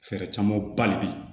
Fɛɛrɛ caman ba de bɛ yen